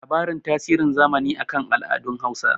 labarin tasirin zamani a kan al'adun Hausa